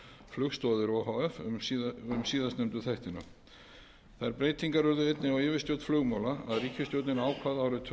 flugstoðir o h f um síðast nefndu þættina þær breytingar urðu einnig á yfirstjórn flugmála að ríkisstjórnin ákvað árið tvö